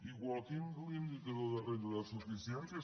igual que l’indicador de renda de suficiència